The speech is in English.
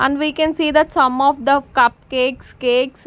And we can see that some of the cupcakes cakes.